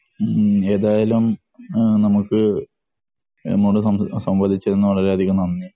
ഹ്ം ഏതായാലും നമുക്ക് നമ്മോട് സംവാദിച്ചതിന് നമുക്ക് വളരെ അധികം നന്ദി.